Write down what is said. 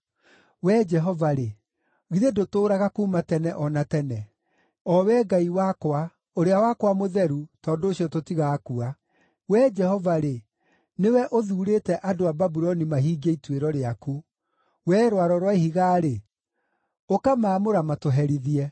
Wee Jehova-rĩ, githĩ ndũtũũraga kuuma tene o na tene? O Wee Ngai wakwa, ũrĩa wakwa mũtheru, tondũ ũcio tũtigakua. Wee Jehova-rĩ, nĩwe ũthuurĩte andũ a Babuloni mahingie ituĩro rĩaku; wee Rwaro rwa Ihiga-rĩ, ũkamaamũra matũherithie.